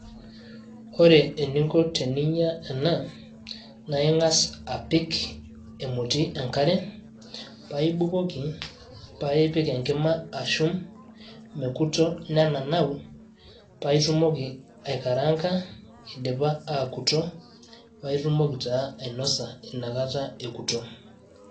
Ore ening'o teniyieu ninya ena naa Ing'as apik emoti enk'are paa Ibukoki paa ipik enkima ashum meirkuto nenenau paa itumoki aikaranga ekurto paitumoki taa ainosa Ina Kata ekurto.